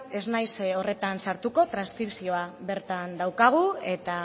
ez naiz horretan sartuko transkripzioa bertan daukagu eta